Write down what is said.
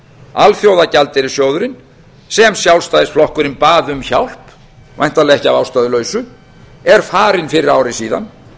alþjóðagjaldeyrissjóðurinn sem sjálfstæðisflokkurinn bað um hjálp væntanlega ekki að ástæðulausu er farinn fyrir ári síðan